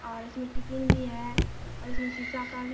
और इसमे टिफिन भी है और इसमे शीशा का भी --